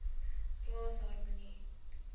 plaas harmonie